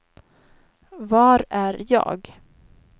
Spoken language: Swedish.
var är jag